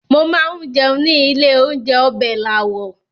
Mo máa ń jẹun ní ilé-oúnjẹ Ọbẹ̀làwọ̀.